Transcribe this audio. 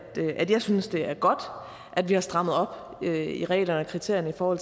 jeg synes det er godt at vi har strammet op i reglerne og kriterierne for